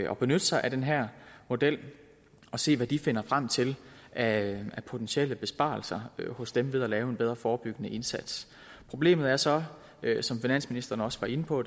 at benytte sig af den her model og se hvad de finder frem til af potentielle besparelser ved at lave en bedre forebyggende indsats problemet er så som finansministeren også var inde på